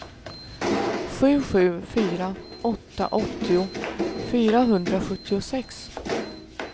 sju sju fyra åtta åttio fyrahundrasjuttiosex